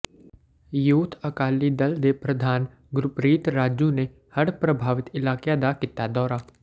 youth Akali Dal ਦੇ ਪ੍ਰਧਾਨ ਗੁਰਪ੍ਰੀਤ ਰਾਜੂ ਨੇ ਹੜ੍ਹ ਪ੍ਰਭਾਵਿਤ ਇਲਾਕਿਆਂ ਦਾ ਕੀਤਾ ਦੌਰਾ